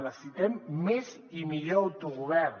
necessitem més i millor autogovern